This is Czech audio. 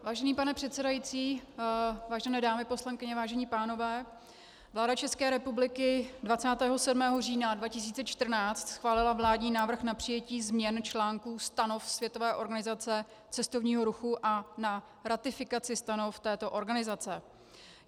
Vážený pane předsedající, vážené dámy poslankyně, vážení pánové, vláda České republiky 27. října 2014 schválila vládní návrh na přijetí změn článků Stanov Světové organizace cestovního ruchu a na ratifikaci stanov této organizace.